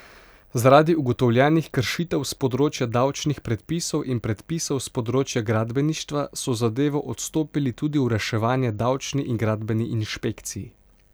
Zaradi ugotovljenih kršitev s področja davčnih predpisov in predpisov s področja gradbeništva so zadevo odstopili tudi v reševanje davčni in gradbeni inšpekciji.